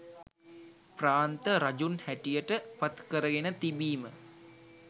ප්‍රාන්ත රජුන් හැටියට පත් කරගෙන තිබීම